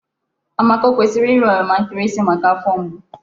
Amaka o kwesịrị ịra oroma nkịrịsị maka afọ mgbu?